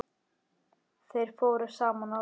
Þeir fóru saman á tehús.